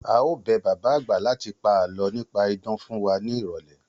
A óò bẹ bàbá àgbà láti pa àlọ́ nípa idán fún wa ní ìrọ̀lẹ́